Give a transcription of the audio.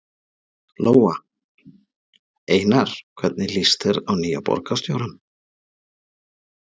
Lóa: Einar, hvernig líst þér á nýja borgarstjórann?